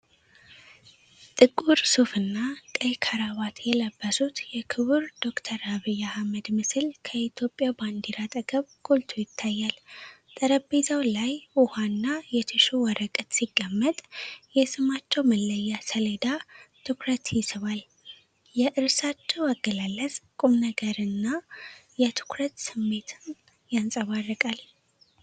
ጥቁር ሱፍና ቀይ ክራቫት የለበሱት የክቡር ዶ/ር አብይ አሕመድ ምስል ከኢትዮጵያ ባንዲራ አጠገብ ጎልቶ ይታያል። ጠረጴዛው ላይ ውኃና የቲሹ ወረቀት ሲቀመጥ፣ የሥማቸው መለያ ሰሌዳ ትኩረት ይስባል። የእርሳቸው አገላለጽ የቁምነገርና የትኩረት ስሜትን ያንጸባርቃል።